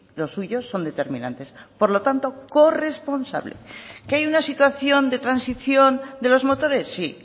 los suyos son determinantes por lo tanto corresponsable que hay una situación de transición de los motores sí